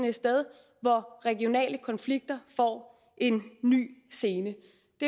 et sted hvor regionale konflikter får en ny scene